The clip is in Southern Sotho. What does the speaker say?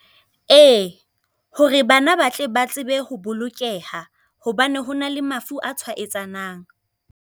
Ee, hore bana ba tle ba tsebe ho bolokeha, hobane ho na le mafu a tshwayetsanang.